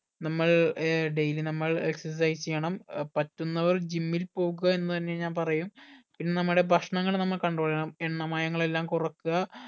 നമ്മൾ uh daily നമ്മൾ exercise ചെയ്യണം ഏർ പറ്റുന്നവർ gym ഇൽ പോകുക എന്ന് തന്നെ ഞാൻ പറയും പിന്നെ നമ്മുടെ ഭക്ഷണങ്ങൾ നമ്മൾ control ചെയ്യണം എണ്ണ മയങ്ങൽ എല്ലാം കൊറക്ക